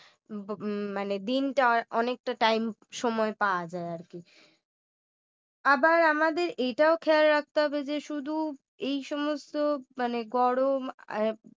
হম মানে দিনটা অনেকটা time সময় পাওয়া যায় আর কি আবার আমাদের এটাও খেয়াল রাখতে হবে যে শুধু এই সমস্ত মানে গরম